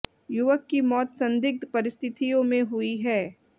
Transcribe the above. युवक की मौत संदिग्ध परिस्थितियों में हुई है